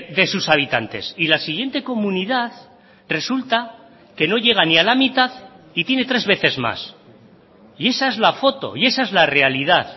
de sus habitantes y la siguiente comunidad resulta que no llega ni a la mitad y tiene tres veces más y esa es la foto y esa es la realidad